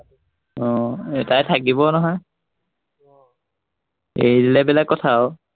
আহ এৰ তাই থাকিবই নহয়, আহ এৰি দিলে বেলেগ কথা আৰু।